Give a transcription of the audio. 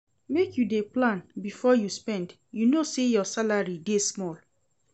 Make you dey plan before you spend, you know sey your salary dey small.